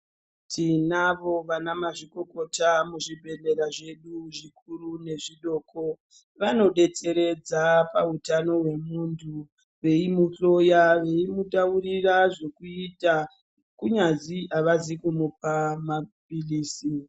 Tinavo vana mazvikokota muzvibhedhlera zvedu zvikuru nezvidoko vanobetseredza pautano wemuntu veimuhloya veimutaurira zvekuita kunyazi havazi kumupa maphilizi.